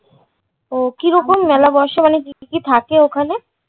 ওহ, কি রকম মেলা বসে মানে কী কী থাকে ওখানে?